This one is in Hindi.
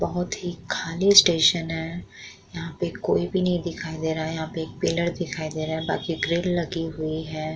बोहोत ही खाली स्टेशन है। यहां पे कोई भी नहीं दिखाई दे रहा है। यहां पे एक पिलर दिखाई दे रहा है बाकी ग्रिल लगी हुई है।